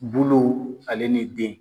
Bolow ale ni den.